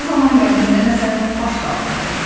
Bu zaman qəlbində nəsə baş qaldırdı.